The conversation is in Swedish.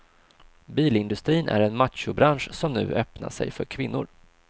Bilindustrin är en machobransch som nu öppnar sig för kvinnor.